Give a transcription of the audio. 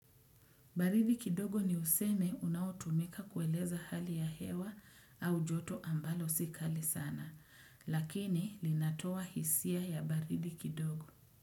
Baridi kidogo ni useme unaotumika kueleza hali ya hewa au joto ambalo si kali sana, lakini linatoa hisia ya baridi kidogo.